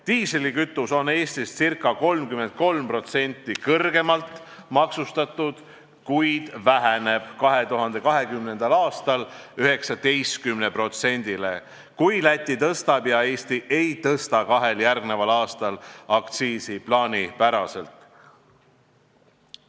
Diislikütus on Eestis ca 33% kõrgemalt maksustatud, kuid see väheneb 2020. aastal 19%-le, kui Läti tõstab aktsiisi ja Eesti kahel järgmisel aastal aktsiisi ei tõsta.